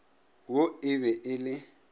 wo e be e le